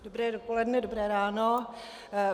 Dobré dopoledne, dobré ráno.